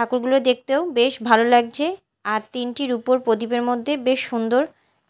ঠাকুরগুলো দেখতেও বেশ ভালো লাগজে আর তিনটি রুপোর প্রদীপের মধ্যে বেশ সুন্দর